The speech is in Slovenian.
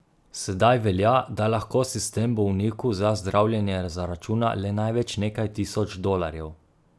Sedaj velja, da lahko sistem bolniku za zdravljenje zaračuna le največ nekaj tisoč dolarjev.